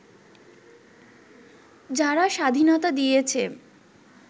যারা স্বাধীনতা দিয়েছে